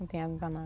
Não tem água